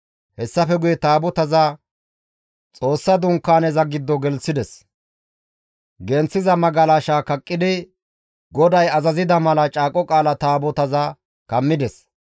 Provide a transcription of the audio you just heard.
Hessafe guye Taabotaza Xoossa Dunkaaneza giddo gelththides; genththiza magalashaa kaqqidi, GODAY azazida mala Caaqo Qaala Taabotaza kammides.